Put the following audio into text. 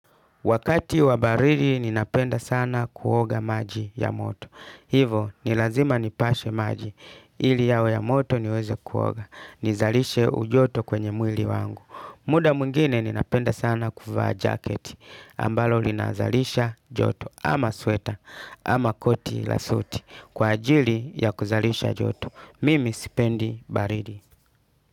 Wakati wabaridi ninapenda sana kuoga maji ya moto. Hivo, ni lazima nipashe maji. Ili yawe ya moto niweze kuoga. Nizalishe ujoto kwenye mwili wangu. Muda mwingine ninapenda sana kuvaa jacket. Ambalo linazalisha joto. Ama sweta. Ama koti la suti. Kwa ajili ya kuzalisha joto. Mimi sipendi baridi.